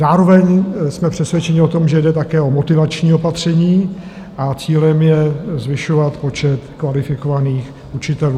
Zároveň jsme přesvědčeni o tom, že jde také o motivační opatření a cílem je zvyšovat počet kvalifikovaných učitelů.